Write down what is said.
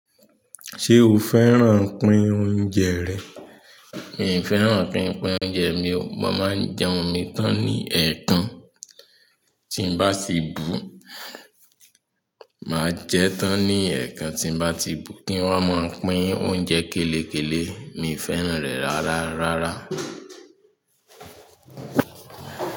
Ṣé o fẹ́ràn pín oúnjẹ rẹ̀? Mi o fẹ́ràn pín oúnjẹ mi o. Mo máa ń jẹun mi tán ní ẹ̀ẹ̀kan tí ń bá ti bùu. Máa jẹ tán ní ẹ̀ẹ̀kan tí bá ti bu, kí wọn máa pín oúnjẹ kélekèlé. Mi ò fẹ́ràn rẹ̀ rárá rárá.